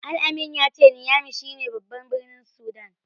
Al-amin ya ce Niyami shi ne baban birnin Sudan.